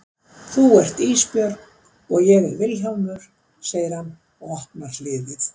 Þú ert Ísbjörg og ég er Vilhjálmur, segir hann og opnar hliðið.